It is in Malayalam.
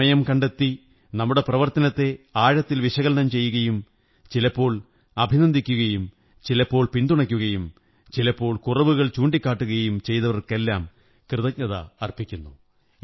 സമയം കണ്ടെത്തി നമ്മുടെ പ്രവര്ത്ത നത്തെ ആഴത്തിൽ വിശകലനം ചെയ്യുകയും ചിലപ്പോൾ അഭിനന്ദിക്കയും ചിലപ്പോൾ പിന്തുണയ്ക്കുകയും ചിലപ്പോൾ കുറവുകൾ ചൂണ്ടിക്കാട്ടുകയും ചെയ്തവര്ക്കെരല്ലാം കൃതജ്ഞതയര്പ്പികക്കുന്നു